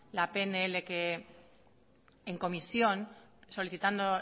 la pnl que en comisión solicitando